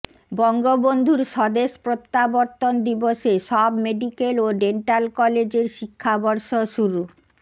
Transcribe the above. বঙ্গবন্ধুর স্বদেশ প্রত্যাবর্তন দিবসে সব মেডিক্যাল ও ডেন্টাল কলেজের শিক্ষাবর্ষ শুরু